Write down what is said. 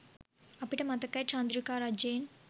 අපිට මතකයි චන්ද්‍රිකා රජයෙන්